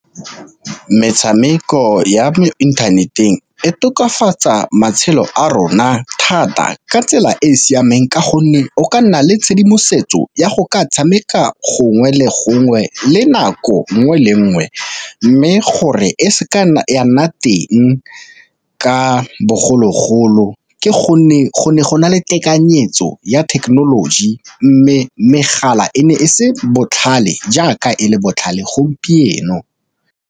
Metshameko ya mo internet-eng e tokafatsa matshelo a rona thata ka tsela e e siameng ka gonne o ka nna le tshedimosetso ya go ka tshameka gongwe le gongwe le nako nngwe le nngwe, mme gore e seke ya nna teng ka bogologolo ke gonne go ne go na le tekanyetso ya thekenoloji, mme megala e ne e se botlhale jaaka e le botlhale gompieno.